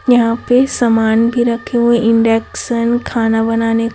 यहा पे समान भी रखे हुए इंडेक्सन खाना बनाने--